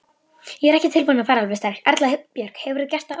Erla Björg: Hefurðu gert það áður?